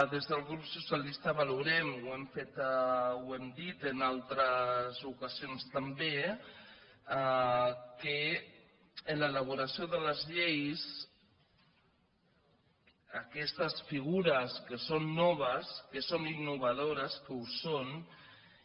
des del grup socialistes valorem ho hem dit en altres ocasions també que en l’elaboració de les lleis aquestes figures que són noves que són innovadores que ho són